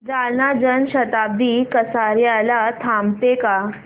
जालना जन शताब्दी कसार्याला थांबते का